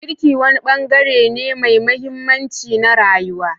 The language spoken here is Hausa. Girki wani bangare ne mai mahimmanci na rayuwa.